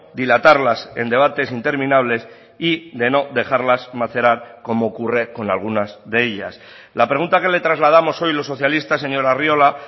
dilatarlas en debates interminables y de no dejarlas macerar como ocurre con algunas de ellas la pregunta que le trasladamos hoy los socialistas señor arriola